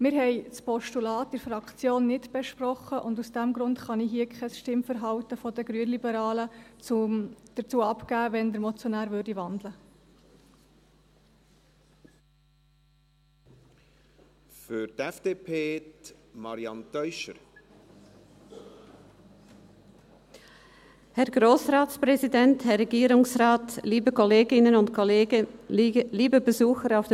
Wir haben das Postulat in der Fraktion nicht besprochen, und aus diesem Grund kann ich hier kein Stimmverhalten der Grünliberalen dazu bekanntgeben, wenn der Motionär wandeln würde.